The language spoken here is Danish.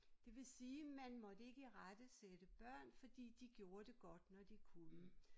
Det vil sige man måtte ikke irettesætte børn fordi de gjorde det godt når de kunne